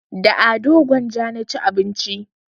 Da ado gwanja na ci abinci